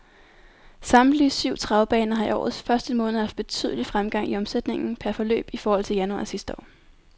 Samtlige syv travbaner har i årets første måned haft betydelig fremgang i omsætningen per løb i forhold til januar sidste år.